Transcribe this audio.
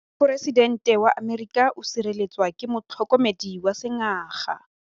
Poresitêntê wa Amerika o sireletswa ke motlhokomedi wa sengaga.